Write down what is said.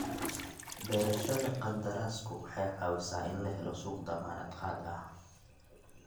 Beerashada qandaraasku waxay caawisaa in la helo suuq dammaanad qaad ah.